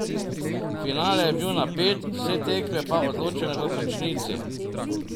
Finale je bil napet, vse tekme pa odločene v končnici.